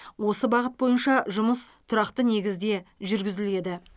осы бағыт бойынша жұмыс тұрақты негізде жүргізіледі